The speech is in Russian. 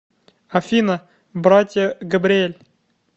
афина братья габриэль